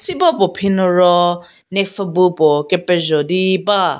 sibo puo phinu ro nyiepfhü bou puo kepezho di ba.